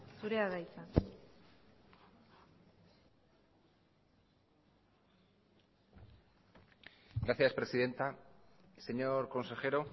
zurea da hitza gracias presidenta señor consejero